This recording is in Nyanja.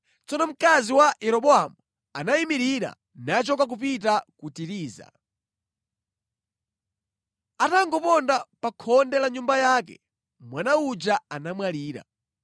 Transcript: Tsono mkazi wa Yeroboamu anayimirira nachoka kupita ku Tiriza. Atangoponda pa khonde la nyumba yake, mwana uja anamwalira.